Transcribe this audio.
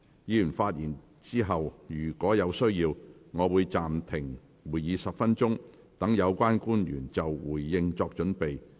議員發言後，若有需要，我會暫停會議10分鐘，讓有關官員就回應作準備。